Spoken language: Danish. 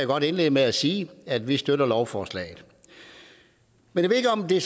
godt indlede med at sige at vi støtter lovforslaget jeg ved ikke om det